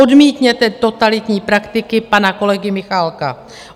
Odmítněte totalitní praktiky pana kolegy Michálka.